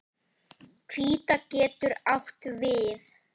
Hvíta getur átt við